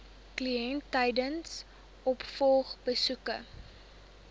kliënt tydens opvolgbesoeke